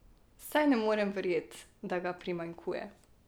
Saj ne morem verjet, da ga primanjkuje.